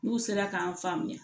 N'u sera k'an faamuya